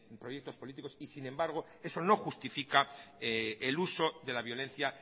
proyectos políticos y sin embargo eso no justifica el uso de la violencia